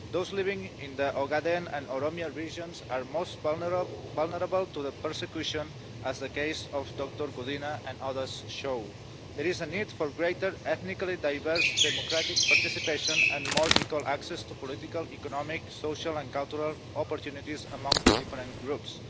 Those living in the Ogaden and Oromia regions are most vulnerable to the persecution, as the case of Dr Gudina and others show. There is a need for greater ethnically diverse democratic participation and more equal access to political, economic, social and cultural opportunities among the different groups.